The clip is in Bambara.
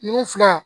Ninnu fila